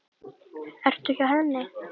Ertu hjá henni?